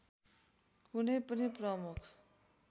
कुनै पनि प्रमुख